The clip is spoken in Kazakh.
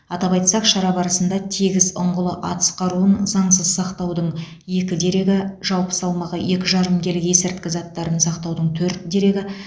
атап айтсақ шара барысында тегіс ұңғылы атыс қаруын заңсыз сақтаудың екі дерегі жалпы салмағы екі жарым келі есірткі заттарын сақтаудың төрт дерегі